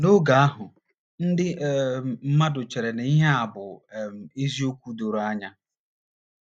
N’oge ahụ, ndị um mmadụ chere na ihe a bụ um eziokwu doro anya.